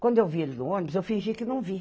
Quando eu vi ele no ônibus, eu fingi que não vi.